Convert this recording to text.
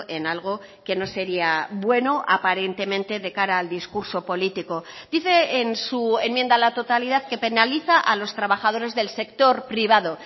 en algo que no sería bueno aparentemente de cara al discurso político dice en su enmienda a la totalidad que penaliza a los trabajadores del sector privado